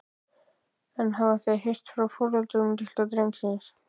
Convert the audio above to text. En hafa þeir heyrt frá foreldrum litla drengsins?